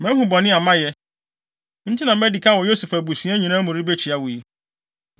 Mahu bɔne a mayɛ, enti na madi kan wɔ Yosef abusua nyinaa mu rebekyia wo yi.”